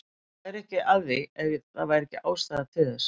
Ég væri ekki að því ef það væri ekki ástæða til þess.